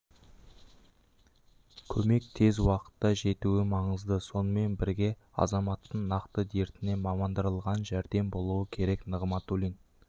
көмек тез уақытта жетуі маңызды сонымен бірге азаматтың нақты дертіне мамандандырылған жәрдем болуы керек нығматулин